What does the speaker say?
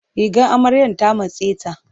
Rigar amaryan ta matse ta.